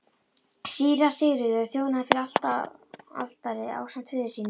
Síra Sigurður þjónaði fyrir altari ásamt föður sínum.